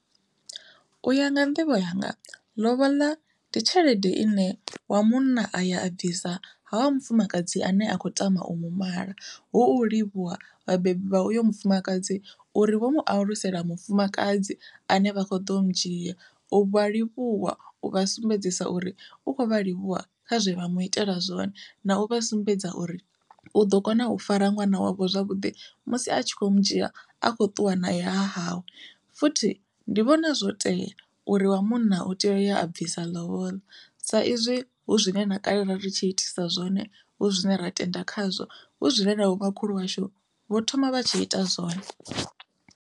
Uya nga nḓivho yanga lobola ndi tshelede ine wa munna a ya a bvisa ha wa mufumakadzi ane a khou tama u mu mala, hu u livhuwa vhabebi vha uyo mufumakadzi uri vho mu alusela mufumakadzi ane vha kho ḓo mudzhia u vha livhuwa u vha sumbedzisa uri u khou vhalivhuwa kha zwe vha mu itela zwone na u vha sumbedza uri u ḓo kona u fara ṅwana wavho zwavhuḓi musi a tshi khou mudzhia a khou ṱuwa naye hahawe. Futhi ndi vhona zwo tea uri wa munna u tea u ya a bvisa lobola sa izwi hu zwine na kale ri tshi itisa zwone hu zwine ra tenda khazwo hu zwine navho makhulu washu vho thoma vha tshi ita zwone.